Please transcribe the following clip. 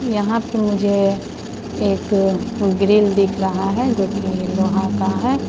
यहां पे मुझे एक ग्रिल दिख रहा है जो की लोहा का है।